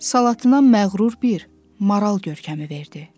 Salatına məğrur bir maral görkəmi verdi.